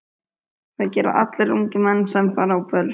Það gera allir ungir menn sem fara á böll.